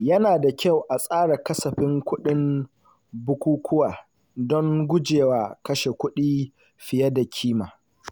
Yana da kyau a tsara kasafin kuɗin bukukuwa don gujewa kashe kuɗi fiye da ƙima.